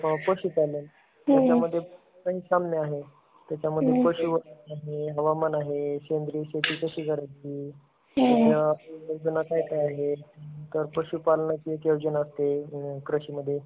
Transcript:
पशुपालन, त्याचामध्ये कैक साम्ये आहेत. त्याच्यामध्ये पशुसंवर्धन आहे, हवामान आहे, शेंद्रीय शेती कशी करायची? आणि नियोजनात काय काय आहे? तर पशुपालनाचा एक नियोजन असते कृषीमध्ये.